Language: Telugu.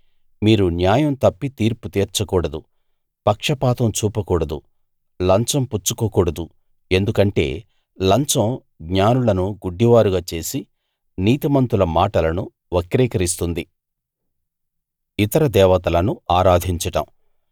మీరు న్యాయం తప్పి తీర్పుతీర్చకూడదు పక్షపాతం చూపకూడదు లంచం పుచ్చుకోకూడదు ఎందుకంటే లంచం జ్ఞానులను గుడ్డివారుగా చేసి నీతిమంతుల మాటలను వక్రీకరిస్తుంది